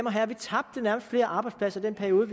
og herrer vi tabte nærmest flere arbejdspladser i den periode